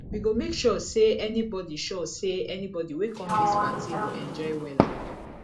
we go make sure sey anybodi sure sey anybodi wey come dis party go enjoy wella